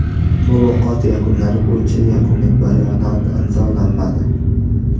Muloqot yakunlari bo‘yicha yakuniy bayonot imzolanmadi.